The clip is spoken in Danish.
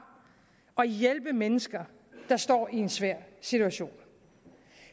og hjælpe mennesker der står i en svær situation